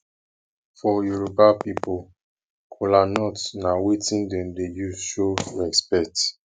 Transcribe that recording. for yoroba pipol kolanut na wetin dem dey use show respekt